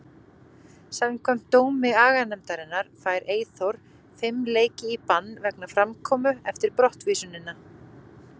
Samkvæmt dómi aganefndarinnar fær Eyþór fimm leiki í bann vegna framkomu eftir brottvísunina.